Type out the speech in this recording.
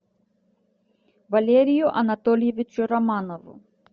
валерию анатольевичу романову